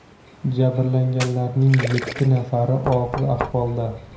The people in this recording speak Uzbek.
Jabrlanganlarning yetti nafari og‘ ir ahvolda.